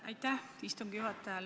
Aitäh, istungi juhataja!